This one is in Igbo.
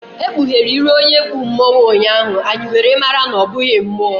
E kpughere iru onye kpụ mmonwu ụnyaahụ, anyị were mara na ọ bụghị mmuo